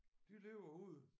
De lever ude